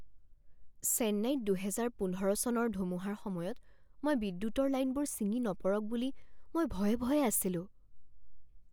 চেন্নাইত দুহেজাৰ পোন্ধৰ চনৰ ধুমুহাৰ সময়ত মই বিদ্যুতৰ লাইনবোৰ ছিঙি নপৰক বুলি মই ভয়ে ভয়ে আছিলো।